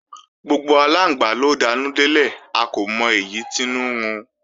Gbogbo aláǹgbá ló danú délẹ̀, a kò mọ èyí tínú ń run